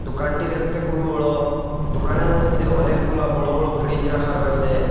দুকানটি দেখতে খুবই বড়ো দুকানের মইধ্যে অনেকগুলা বড়ো বড়ো ফ্রিজ রাখা রয়েসে ।